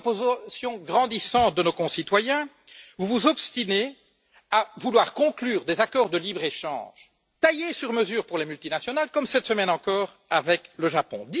Malgré une opposition grandissante de nos concitoyens, vous vous obstinez à vouloir conclure des accords de libre échange taillés sur mesure pour les multinationales, comme, cette semaine encore, avec le Japon.